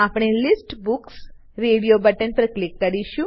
આપણે list books radio button પર click કરીશું